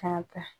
Ka kan